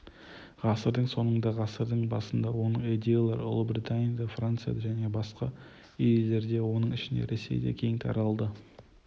ғасырдың соңында ғасырдың басында оның идеялары ұлыбританияда францияда және басқа елдерде оның ішінде ресейде кең таралды